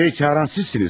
Sonyanı çağıran sizsiniz.